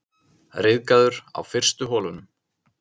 Ryðgaður á fyrstu holunum